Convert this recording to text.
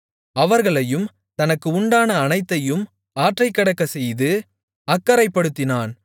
அவர்களையும் தனக்கு உண்டான அனைத்தையும் ஆற்றைக்கடக்க செய்து அக்கரைப்படுத்தினான்